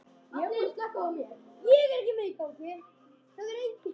Það nýtist okkur vonandi vel.